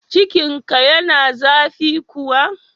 Cikinka yana zafi kuwa?